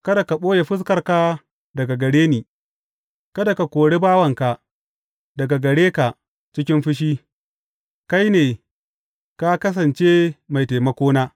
Kada ka ɓoye fuskarka daga gare ni, kada ka kore bawanka daga gare ka cikin fushi; kai ne ka kasance mai taimakona.